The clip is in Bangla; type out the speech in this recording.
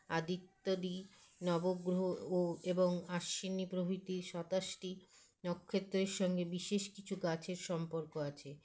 আদিত্যদি নবগ্ৰহ ও এবং আশ্বিনী প্রভৃতি সাতাশটি নক্ষত্রের সঙ্গে বিশেষ কিছু গাছের সম্পর্ক আছে